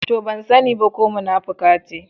To! Ban sani ba ko munafuka ce.